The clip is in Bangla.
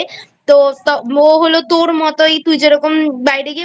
তো ও হল তোর মতই তুই যেরকম বাইরে গিয়ে